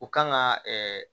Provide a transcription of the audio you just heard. U kan ka ɛɛ